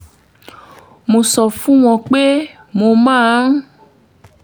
mo sọ fún un pé mo máa ń